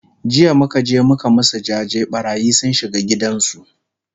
jiya muka je muka masu jaje, ɓarayi sun shiga gidan su